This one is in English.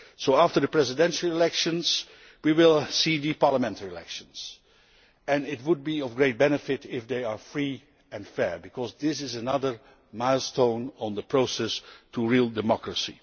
After the presidential elections we will see parliamentary elections and it would be of great benefit if they were free and fair because this is another milestone in the process leading to real democracy.